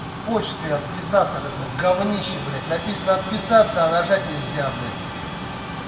почты отписаться от этого говнища блядь написано отписаться а нажать нельзя блядь